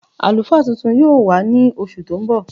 Alúfá tuntun yóò wà ní oṣù tí n bọ.